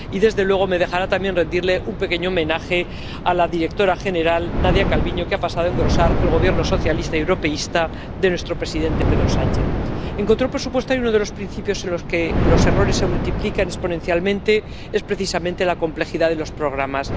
y, desde luego, me dejará también rendirle un pequeño homenaje a la directora general, Nadia Calviño, que ha pasado a engrosar el Gobierno socialista y europeísta de nuestro presidente, Pedro Sánchez. En control presupuestario, uno de los principios en los que los errores se multiplican exponencialmente es precisamente la complejidad de los programas.